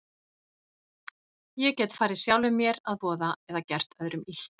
Ég gat farið sjálfum mér að voða eða gert öðrum illt.